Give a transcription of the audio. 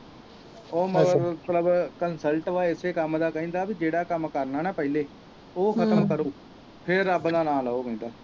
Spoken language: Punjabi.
ਉਹ ਮਤਲਬ consult ਵਾ ਇਸੇ ਕੰਮ ਦਾ ਕਹਿੰਦਾ ਵੀ ਜਿਹੜਾ ਕਰਨਾ ਨਾ ਪਹਿਲੇ ਉਹ ਖਤਮ ਕਰੋ ਫਿਰ ਰੱਬ ਦਾ ਨਾਂ ਲੋ ਕਹਿੰਦਾ।